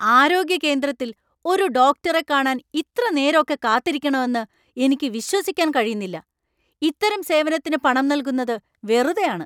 ആരോഗ്യ കേന്ദ്രത്തിൽ ഒരു ഡോക്ടറെ കാണാൻ ഇത്ര നേരൊക്കെ കാത്തിരിക്കണോ എന്ന് എനിക്ക് വിശ്വസിക്കാൻ കഴിയുന്നില്ല! ഇത്തരം സേവനത്തിന് പണം നൽകുന്നത് വെറുതെയാണ്.